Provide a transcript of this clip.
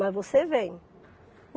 Mas você vem.